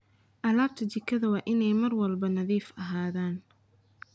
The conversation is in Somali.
Alaabta jikada waa inay mar walba nadiif ahaadaan.